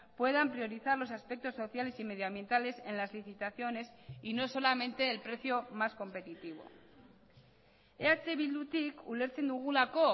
puedan priorizar los aspectos sociales y medio ambientales en las licitaciones y no solamente el precio más competitivo eh bildutik ulertzen dugulako